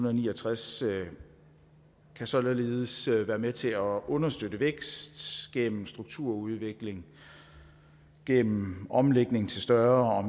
og ni og tres kan således være med til at understøtte vækst gennem strukturudvikling gennem omlægning til større og